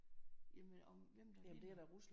Jamen om hvem der vinder